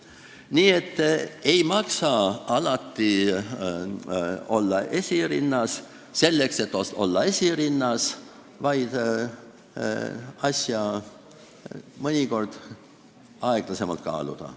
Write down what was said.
Nii et ei maksa alati olla esirinnas selleks, et lihtsalt olla esirinnas, vaid asju tuleks mõnikord aeglasemalt kaaluda.